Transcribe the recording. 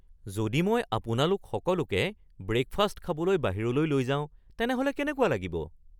যদি মই আপোনালোক সকলোকে ব্ৰেকফাষ্ট খাবলৈ বাহিৰলৈ লৈ যাওঁ তেনেহ’লে কেনেকুৱা লাগিব?